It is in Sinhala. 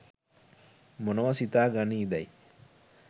මොනවා සිතා ගනීදැයි